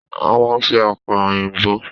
A man se àkàrà òyìnbó.